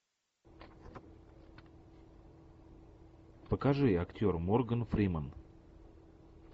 покажи актер морган фримен